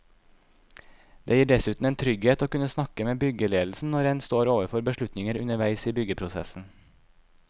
Det gir dessuten en trygghet å kunne snakke med byggeledelsen når en står overfor beslutninger underveis i byggeprosessen.